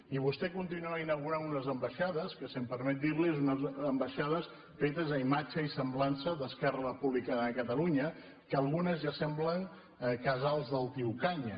i vostè continua inaugurant unes ambaixades que si em permet dir li ho són unes ambaixades fetes a imatge i semblança d’esquerra republicana de catalunya que algunes ja semblen casals del tio canya